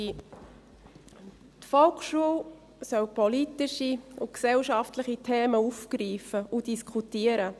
Die Volksschule soll politische und gesellschaftliche Themen aufgreifen und diskutieren.